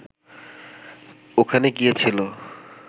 ওখানে গিয়েছিল